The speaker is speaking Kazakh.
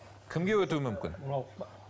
кімге өтуі мүмкін